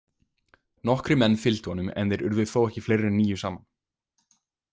Nokkrir menn fylgdu honum en þeir urðu þó ekki fleiri en níu saman.